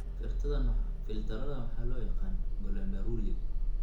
filtarradan waxaa loo yaqaan glomeruli.